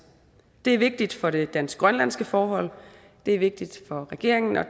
det er vigtigt for det dansk grønlandske forhold det er vigtigt for regeringen og